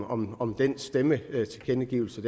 om om stemmetilkendegivelsen